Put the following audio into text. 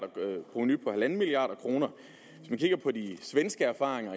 provenu på en milliard kroner hvis vi kigger på de svenske erfaringer